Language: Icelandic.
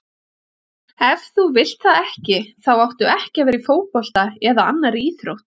Ef þú vilt það ekki þá áttu ekki að vera í fótbolta eða annarri íþrótt.